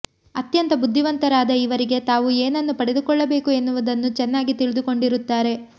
ಅತ್ಯಂತ ಬುದ್ಧಿವಂತರಾದ ಇವರಿಗೆ ತಾವು ಏನನ್ನು ಪಡೆದುಕೊಳ್ಳಬೇಕು ಎನ್ನುವುದನ್ನು ಚೆನ್ನಾಗಿ ತಿಳಿದುಕೊಂಡಿರುತ್ತಾರೆ